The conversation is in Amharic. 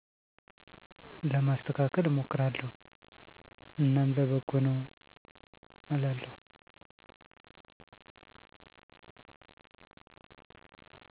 ለማስተካከል እሞክራለሁ እናም ለበጎነው አላለሁ